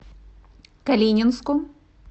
калининску